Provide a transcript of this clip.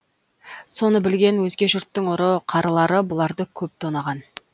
соны білген өзге жұрттың ұры қарылары бұларды көп тонаған